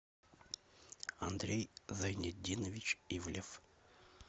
андрей зайнетдинович ивлев